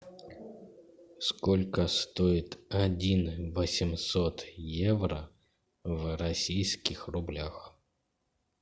сколько стоит один восемьсот евро в российских рублях